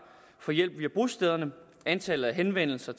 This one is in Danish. får hjælp via bostederne antallet af henvendelser